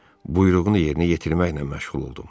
Buyruğunu yerinə yetirməklə məşğul oldum.